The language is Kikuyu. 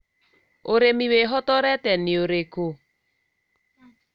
ũrĩmi wĩhotorete nĩ ũrĩkũ?